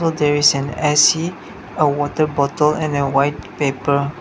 there is an A_C a water bottle and a white paper.